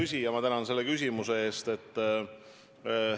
Hea küsija, ma tänan selle küsimuse eest!